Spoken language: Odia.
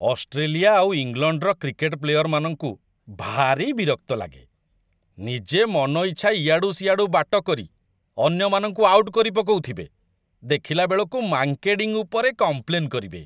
ଅଷ୍ଟ୍ରେଲିଆ ଆଉ ଇଂଲଣ୍ଡର କ୍ରିକେଟ୍ ପ୍ଲେୟରମାନଙ୍କୁ ଭାରି ବିରକ୍ତ ଲାଗେ, ନିଜେ ମନଇଚ୍ଛା ଇଆଡ଼ୁ ସିଆଡ଼ୁ ବାଟ କରି ଅନ୍ୟମାନଙ୍କୁ ଆଉଟ୍ କରିପକଉଥିବେ, ଦେଖିଲାବେଳକୁ ମାଙ୍କେଡ଼ିଂ ଉପରେ କମ୍ପ୍ଲେନ୍ କରିବେ ।